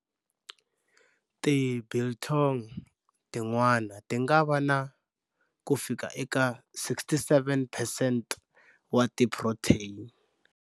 Ti biltong tin'wana tingava na kufika eka 67 percent wa ti protein.